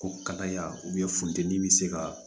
Ko kalaya funteni bɛ se ka